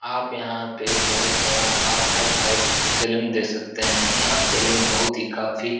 आप यहाँ पे एक बहोत बड़ा और हाय-फाय एक सलून देख सकते हैं। यहाँ सलून बहोत ही काफी --